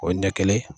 O ɲɛ kelen